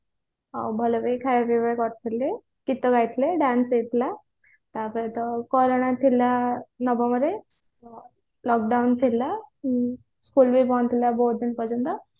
ଆଉ ଭଲ ବି ଖାଇବା ପିଇବା କରିଥିଲେ ଗୀତ ଗାଇଥିଲେ dance ବି ହେଇଥିଲା ତା ସହିତ corona ଥିଲା ନବମରେ lockdown ଥିଲା school ବି ବନ୍ଦ ଥିଲା ବହୁତ ଦିନ ପର୍ଯ୍ୟନ୍ତ